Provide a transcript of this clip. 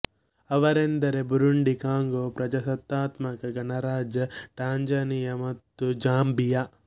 ಅವೆಂದರೆ Burundi Congo ಪ್ರಜಾಸತ್ತಾತ್ಮಕ ಗಣರಾಜ್ಯ Tanzania ಮತ್ತು ಜಾಂಬಿಯ